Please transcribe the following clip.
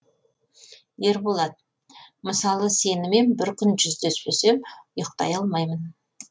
ерболат мысалы сенімен бір күн жүздеспесем ұйықтай алмаймын